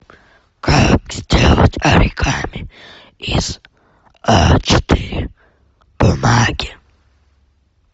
как сделать оригами из а четыре бумаги